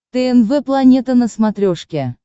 тнв планета на смотрешке